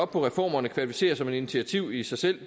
på reformerne kvalificerer som et initiativ i sig selv